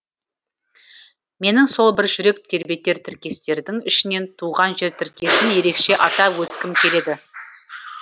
менің сол бір жүрек тербетер тіркестердің ішінен туған жер тіркесін ерекше атап өткім келеді